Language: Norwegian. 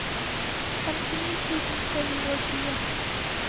femtini tusen tre hundre og tjue